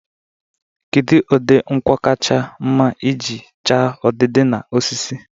Kedu ụdị nkwọ kacha mma iji chaa udidi na osisi?